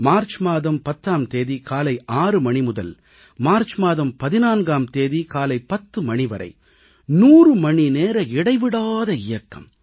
March மாதம் 10ஆம் தேதி காலை 6 மணி முதல் மார்ச் மாதம் 14ஆம் தேதி காலை 10 மணி வரை 100 மணி நேர இடைவிடாத இயக்கம்